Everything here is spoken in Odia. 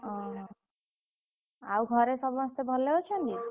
ଓହୋ! ଆଉ ଘରେ ସମସ୍ତେ ଭଲ ଅଛନ୍ତି?